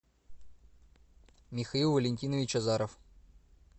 михаил валентинович азаров